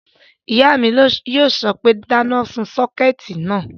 Ìyá mi yóò sọ pé, dáná sun sọ́kẹ̀tì náà!"